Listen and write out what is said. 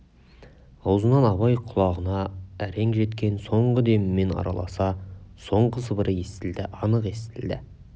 аузынан абай құлағына әрең жеткен соңғы демімен араласа соңғы сыбыры естілді анық естілді